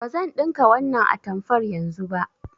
Bazan ɗinka wannan atamfar yanzu ba.